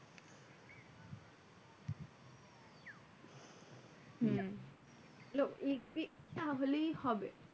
হম তাহলেই হবে।